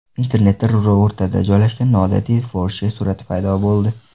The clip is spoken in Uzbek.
Internetda ruli o‘rtada joylashgan noodatiy Porsche surati paydo bo‘ldi.